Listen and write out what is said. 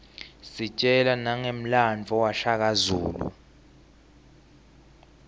sitjelwa nangemlandvo washaka zulu